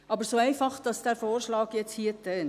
Aber so einfach dieser Vorschlag jetzt hier tönt: